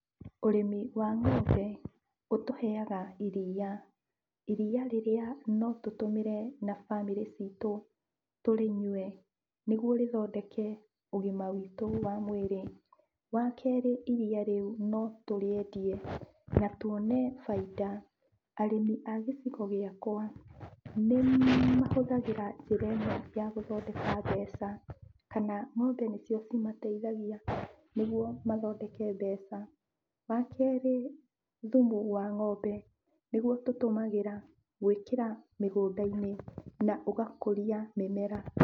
Ũrĩmi wa ng'ombe ũtũheaga iria, iria rĩrĩa no tũtũmĩre na bamĩrĩ citũ, tũrĩnyue nĩguo rĩthondeke ũgima wĩtũ wa mwĩrĩ. Wa kerĩ, iria rĩu no tũrĩendie na tuone bainda. Arĩmi a gĩcigo gĩakwa nĩmahũthagĩra njĩra ĩno ya gũthondeka mbeca kana ng'ombe nĩcio cimateithagia nĩguo mathondeke mbeca. Wa kerĩ, thumu wa ng'ombe nĩguo tũtũmagĩra gwĩkĩra mĩgũnda-inĩ na ũgakũria mĩmera.